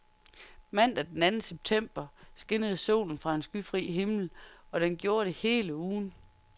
Mandag den anden september skinnede solen fra en skyfri himmel, og den gjorde det hele ugen.